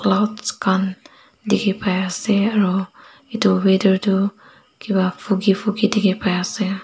clouds khan dikhipaiase aro edu weather tu kipa foggy foggy dikhipaiase.